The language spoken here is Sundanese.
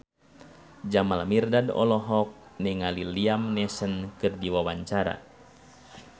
Jamal Mirdad olohok ningali Liam Neeson keur diwawancara